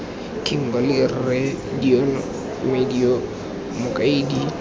kimberley rre deon madyo mokaedi